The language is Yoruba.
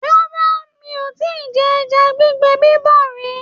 Rárá, mi ò tíì jẹ ẹja gbígbẹ bíbọ̀ rí.